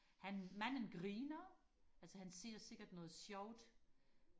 han manden griner altså han ser sikkert noget sjovt